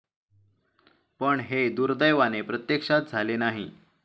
पण हे दुर्दैवाने प्रत्यक्षात झाले नाही.